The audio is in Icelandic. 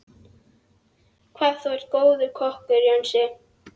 Hvað þú er góður kokkur, Jónsi.